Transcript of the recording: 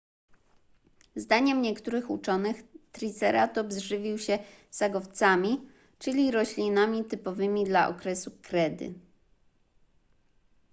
zdaniem niektórych uczonych triceratops żywił się sagowcami czyli roślinami typowymi dla okresu kredy